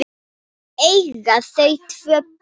Eiga þau tvö börn.